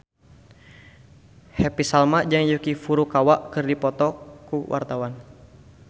Happy Salma jeung Yuki Furukawa keur dipoto ku wartawan